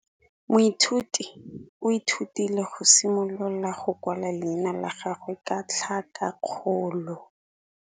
Moithuti o ithutile go simolola go kwala leina la gagwe ka tlhakakgolo.